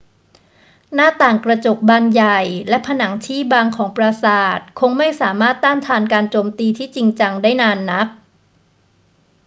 หน้าต่างกระจกบานใหญ่และผนังที่บางของปราสาทคงไม่สามารถต้านทานการโจมตีที่จริงจังได้นานนัก